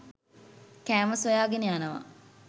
කෑම සොයාගෙන යනවා.